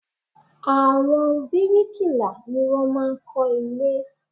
Àwọn brikila ní wọ́n máa ń kó ilé